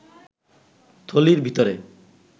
থলির ভিতরে